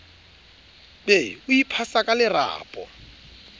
be o iphasa ka lerapo